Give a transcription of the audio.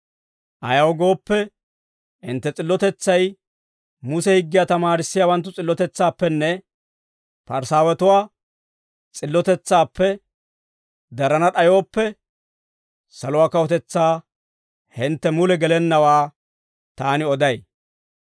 Ayaw gooppe, hintte s'illotetsay Muse higgiyaa tamaarissiyaawanttu s'illotetsaappenne Parisaawatuwaa s'illotetsaappe darana d'ayooppe, saluwaa kawutetsaa hintte mule gelennawaa taani oday.